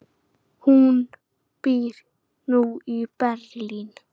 Hún býr nú í Berlín.